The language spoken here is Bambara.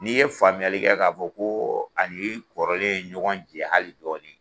N'i ye faamuyali kɛ ka fɔ ko a ni kɔrɔlen ye ɲɔgɔn jɛ hali dɔɔni